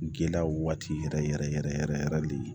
Gɛlɛyaw waati yɛrɛ yɛrɛ yɛrɛ yɛrɛ yɛrɛ de